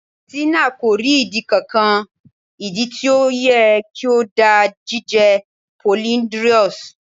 Tina ko ri idi kankan. idi ti o yẹ ki o da jije polyndrous